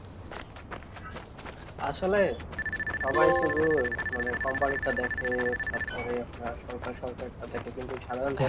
আসলে সবাই শুধু মানে company তা দেখে তারপরে আপনার সরকার সরকারের টা দেখে কিন্তু সাধারণ